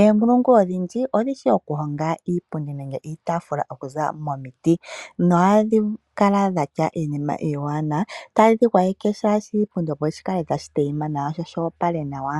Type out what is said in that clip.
Eenkulungu odhi ndji odhi shi okuhonga iipundi nenge iitafula okuziilila momiti, nohadhi kala dha tya iinima iiwanawa ta yedhi gwayeke shaashi oshipundi opo shikale tashi tayima nawa sho shoopala nawa.